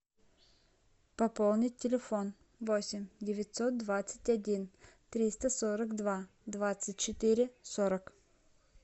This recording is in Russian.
пополнить телефон восемь девятьсот двадцать один триста сорок два двадцать четыре сорок